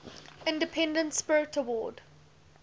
independent spirit award